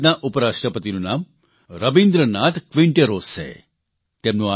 ચીલીની સંસદના ઉપરાષ્ટ્રપતિનું નામ રબિન્દ્રનાથ ક્વિન્ટેરોસ છે